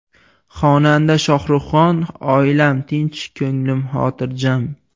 Xonanda Shohruxxon: Oilam tinch, ko‘nglim xotirjam.